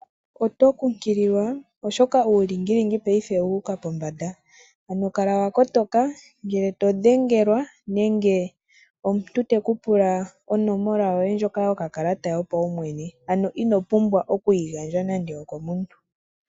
otokunkililwa oshoka uulingilingi paife owuuka pombanda, ano kala wakotoka ngele todhengelwa nenge omuntu tekupula onomola yoye yokakalata yopaumwene, ano inopumbwa okuyigandja nando okomuntu.